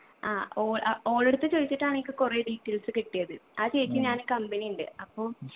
ആ ഓള് അഹ് ഓളടുത്ത് ചോയിച്ചിട്ടാണിക്ക് കൊറേ details കിട്ടിയത് ആ ചേച്ചിം ഞാനും company ഉണ്ട് അപ്പൊ